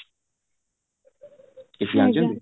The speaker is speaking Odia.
କିଛି ଜାଣିଛନ୍ତି